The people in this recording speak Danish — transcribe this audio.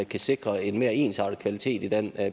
kan sikre en mere ensartet kvalitet i den